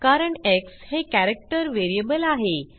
कारण एक्स हे character variable आहे